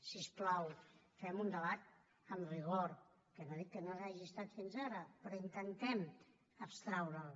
si us plau fem un debat amb rigor que no dic que no ho hagi estat fins ara però intentem abstraure’l